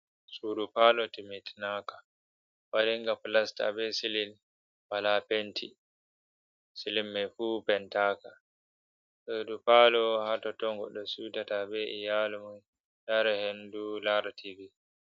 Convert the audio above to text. Sudu pallo timitinaka wadinga plasta be silin wala penti silin mai fu pentaka, sudu pallo ha tottob goddo siutata be iyalumun yara hendu lara tv.